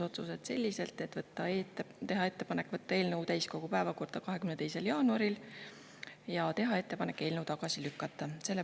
Komisjon tegi sellised menetlusotsused: teha ettepanek võtta eelnõu täiskogu päevakorda 22. jaanuaril ja teha ettepanek eelnõu tagasi lükata.